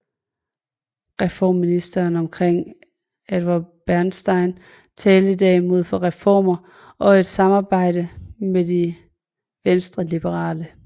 Reformisterne omkring Eduard Bernstein talte derimod for reformer og et samarbejde med de venstreliberale